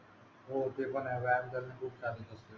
हो ते पण आहे व्यायाम करणे खूप चांगली गोस्ट